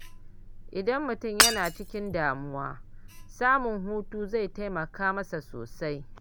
Idan mutum yana cikin damuwa, samun hutu zai taimaka sosai.